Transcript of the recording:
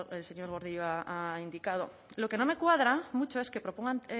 el señor gordillo ha indicado lo que no me cuadra mucho es que propongan